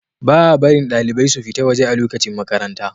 Baa barin dalibai su fita waje a lokacin makaranta